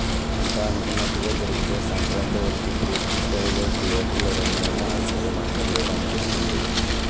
అంతా అనుకున్నట్లుగా జరిగితే సంక్రాంతి వరకు పూర్తి స్థాయిలో థియేటర్లు రన్ అయినా ఆశ్చర్యం అక్కర్లేదు అనిపిస్తుంది